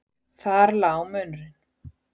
Þar lá munurinn.